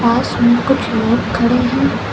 पास में कुछ लोग खड़े हैं।